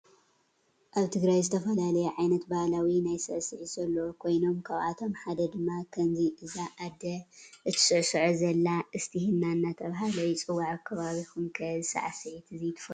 አብ ትግራይ ዝተፈላለዩ ዓይነት ባሀላዊ ናይ ስዕሲዕት ዘለዎ ኮይኖም ካብአቶም ሓደ ድማ ከምዚ እዛ አደ እንትስዕሶዖ ዘላ እስቲሂና እናተባህለ ይፅዋዕ አብ ከባቢኩም ከ እዚ ስዕሲዒት እዚ ትፍልጥዎ ዶ?